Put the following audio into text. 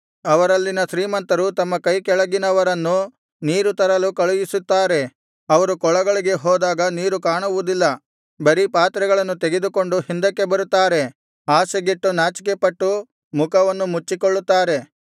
ಅವರಲ್ಲಿನ ಶ್ರೀಮಂತರು ತಮ್ಮ ಕೈಕೆಳಗಿನವರನ್ನು ನೀರು ತರಲು ಕಳುಹಿಸುತ್ತಾರೆ ಅವರು ಕೊಳಗಳಿಗೆ ಹೋದಾಗ ನೀರು ಕಾಣುವುದಿಲ್ಲ ಬರೀ ಪಾತ್ರೆಗಳನ್ನು ತೆಗೆದುಕೊಂಡು ಹಿಂದಕ್ಕೆ ಬರುತ್ತಾರೆ ಆಶೆಗೆಟ್ಟು ನಾಚಿಕೆಪಟ್ಟು ಮುಖವನ್ನು ಮುಚ್ಚಿಕೊಳ್ಳುತ್ತಾರೆ